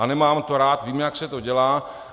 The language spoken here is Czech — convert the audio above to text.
A nemám to rád, vím, jak se to dělá.